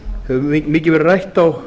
hefur mikið verið rætt á